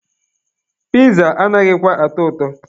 Piza anaghịkwa atọ ụtọ.